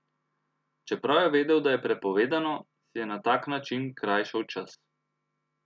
Čeprav je vedel, da je prepovedano, si je na tak način krajšal čas.